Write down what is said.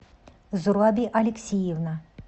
зураби алексеевна